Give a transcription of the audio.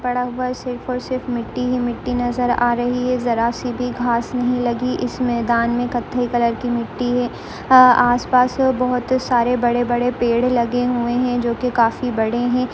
मैदान पड़ा हुआ है सिर्फ और सिर्फ मिट्टी ही मिट्टी नज़र आ रही है जरा सी भी घास नहीं लगी इस मैदान मे कथई कलर मिट्टी है अ आस पास बहुत सारे बड़े बड़े पेड़ लगे हुए है जो कि काफी बड़े है।